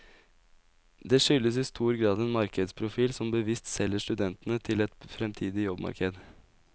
Det skyldtes i stor grad en markedsprofil som bevisst selger studentene til et fremtidig jobbmarked.